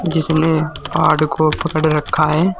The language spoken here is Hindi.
जिसने पहाड़ को पकड़ रखा है।